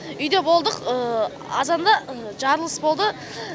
үйде болдық азанда жарылыс болды